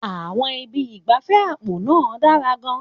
Àwọn ibi ìgbafẹ́ àpò náà dára gan-an.